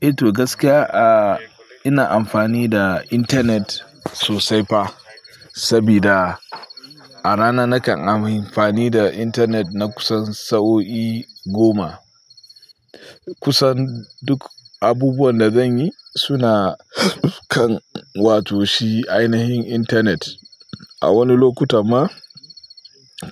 Ito gaskiya, a ina amfani da intanet sosai fa, sabida a rana nakan amfani da intanet na kusan sa'o'i goma. Kusan duk abubuwan da zanyi suna kan wato shi ainihin intanet. A wani lokuta ma